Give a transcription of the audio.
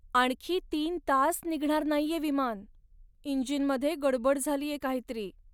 आणखी तीन तास निघणार नाहीये विमान. इंजिनमध्ये गडबड झालीये काहीतरी.